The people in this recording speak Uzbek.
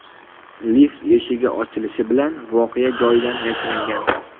Lift eshigi ochilishi bilan voqea joyidan yashiringan.